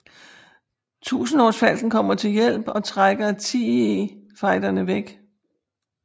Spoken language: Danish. Tusindårsfalken kommer til hjælp og trækker TIE fighterne væk